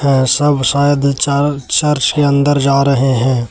यह सब शायद चर चर्च के अंदर जा रहे हैं।